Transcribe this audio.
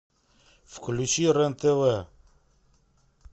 включи рен тв